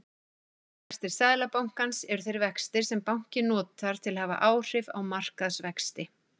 Stýrivextir seðlabanka eru þeir vextir sem bankinn notar til að hafa áhrif á markaðsvexti.